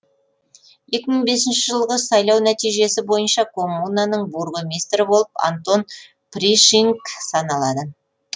екі мың бесінші жылғы сайлау нәтижесі бойынша коммунаның бургомистрі болып антон пришинг саналады